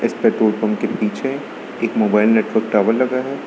इस petrol pump के पीछे एक मोबाइल नेटवर्क टावर लगा है।